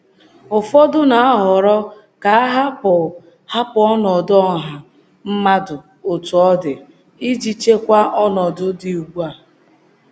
Ụfọdụ na-ahọrọ ka a hapụ hapụ ọnọdụ ọha mmadụ otú ọ dị, iji chekwa ọnọdụ dị ugbu a.